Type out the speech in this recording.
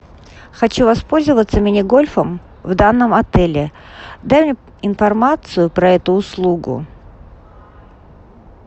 хочу воспользоваться мини гольфом в данном отеле дай мне информацию про эту услугу